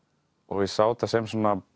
ég sá þetta sem